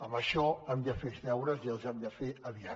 en això hem de fer els deures i els hem de fer aviat